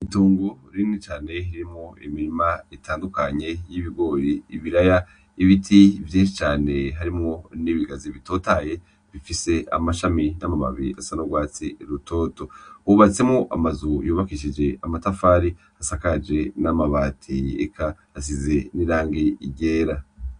Itongo rinini cane ririmwo imirima itandukanye y'ibigori ibiraya, ibiti vyinshi cane harimwo n'ibigazi bitotahaye bifise amashami n'amababi asa n'ugwatsi rutoto. Hubatsemwo amazu yubakishije amatafari asakaje n'amabati eka asize n'irangi ryera.